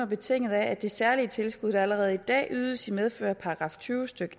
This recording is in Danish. betinget af at det særlige tilskud der allerede i dag ydes i medfør af § tyve stykke